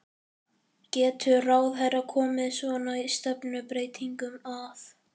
Getur ráðherra komið svona stefnubreytingum að?